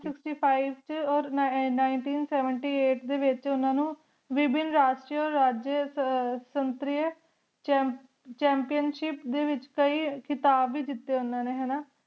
sixty nine ਵੇਚ ਓਰ nineteen seventy eight ਵੇਚ ਵੇਬੇਨ ਰਾਜੇਸ਼ਟ ਸੇਨ੍ਤੇਰ੍ਯਨ ਜਮ ਜਾਮ੍ਪੇਉਣ ਸ਼ਿਪ ਡੀ ਵੇਚ ਕਈ ਖਿਤਾਬ ਵੇ ਜੇਤੀ ਉਨਾ ਨੀ ਹਾਨਾ